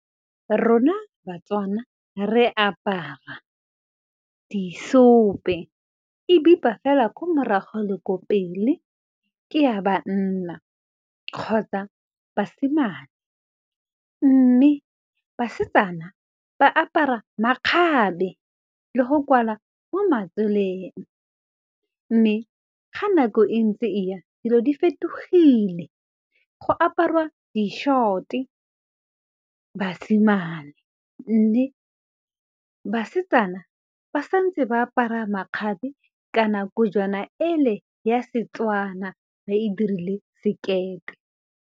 Rona Batswana re apara diseope ebipa fela ka morago le ko pele ke ya banna kgotsa basimane mme basetsana ba apara makgabe le go kwala mo matseleng mme ga nako e ntse e ya dilo di fetogile go aparwa di short-e, basimane mme basetsana ba santse ba apara makgabe ka nako jona ele ya setswana ba e dirile sekete.